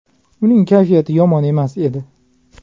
Uning kayfiyati yomon emas edi.